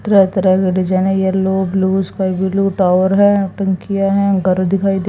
तरह तरह के डिजाइन है yellow blue sky blue tower हैं टंकिया हैं घर दिखाई दे--